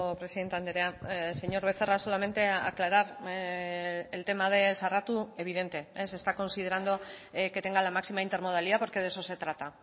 presidente andrea señor becerra solamente aclarar el tema de sarratu evidente se está considerando que tenga la máxima intermodalidad porque de eso se trata